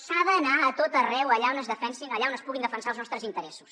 s’ha d’anar a tot arreu allà on es defensin allà on es puguin defensar els nostres interessos